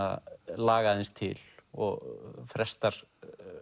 laga aðeins til og frestar